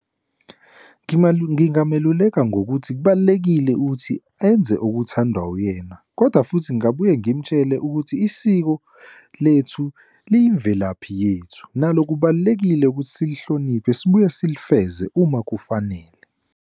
Ngingameluleka ngokuthi kubalulekile ukuthi enze okuthandwa uyena, kodwa futhi ngingabuye ngimtshele ukuthi isiko lethu liyimvelaphi yethu, nalo kubalulekile ukuthi silihloniphe, sibuye silifeze uma kufanele.